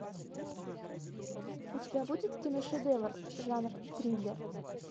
у тебя будет киношедевр жанр триллер